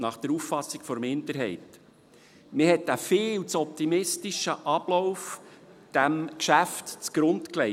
Man hat diesem Geschäft einen viel zu optimistischen Ablauf zugrunde gelegt.